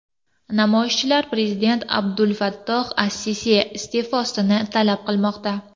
Namoyishchilar prezident Abdulfattoh as-Sisi iste’fosini talab qilmoqda.